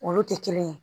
Olu tɛ kelen ye